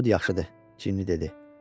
Yod yaxşıdır, Cini dedi.